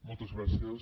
moltes gràcies